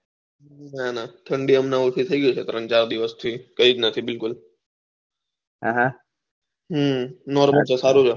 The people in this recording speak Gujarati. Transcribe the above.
નાના ઠંડી હમન ઊછી થઇ ગયી છે ત્રણ ચાર દિવસ થી કઈ નથી બિલકુલ નોર્મલ છે સારું છે